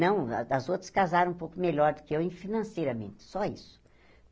Não, as as outras casaram um pouco melhor do que eu em financeiramente, só isso.